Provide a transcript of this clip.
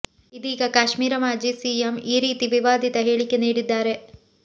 ಇದೀಗ ಕಾಶ್ಮೀರ ಮಾಜಿ ಸಿಎಂ ಈ ರೀತಿ ವಿವಾದಿತ ಹೇಳಿಕೆ ನೀಡಿದ್ದಾರೆ